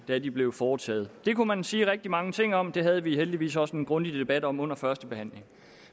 da de blev foretaget det kunne man sige rigtig mange ting om og det havde vi heldigvis også en grundig debat om under førstebehandlingen